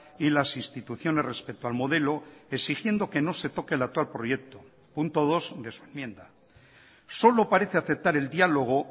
y las instituciones respecto al modelo exigiendo que no se toque el actual proyecto punto dos de su enmienda solo parece aceptar el diálogo